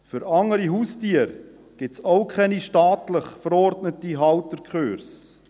Für andere Haustiere gibt es auch keine staatlich verordneten Halterkurse.